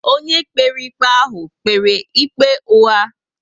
Ónyé kpere ikpe ahụ kpere ikpe ugha